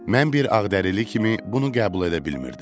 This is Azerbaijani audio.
Mən bir ağdərili kimi bunu qəbul edə bilmirdim.